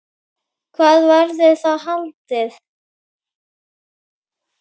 Hvar verður það haldið?